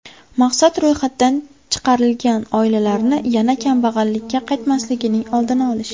Maqsad ro‘yxatdan chiqarilgan oilalarni yana kambag‘allikka qaytmasligining oldini olish.